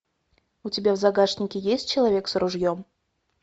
у тебя в загашнике есть человек с ружьем